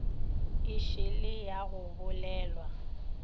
e šele ya go bolelwa